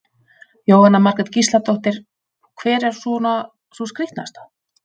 Jóhanna Margrét Gísladóttir: Hver er svona sú skrítnasta?